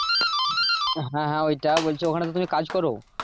হ্যাঁ হ্যাঁ ওটাই ওখানে তো তুমি কাজ করো?